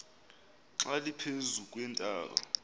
xa liphezu kweentaba